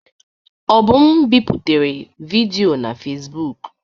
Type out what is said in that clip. Obum biputere vidiyo na Fezbụk.